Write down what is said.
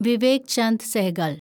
Vivek Chand Sehgal